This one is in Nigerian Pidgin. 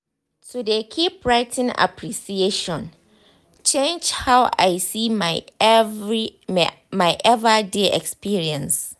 to de keep writing appreciation changed how i see my ever day experiences.